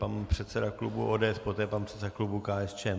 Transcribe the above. Pan předseda klubu ODS, poté pan předseda klubu KSČ.